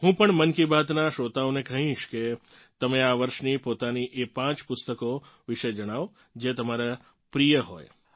હું પણ મન કી બાતનાં શ્રોતાઓને કહીશ કે તમે આ વર્ષની પોતાની એ પાંચ પુસ્તકો વિશે જણાવો જે તમારાં પ્રિય હોય